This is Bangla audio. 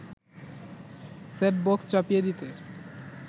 সেটবক্স চাপিয়ে দিতে